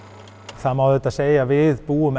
það má segja að við búum